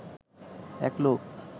এক লোক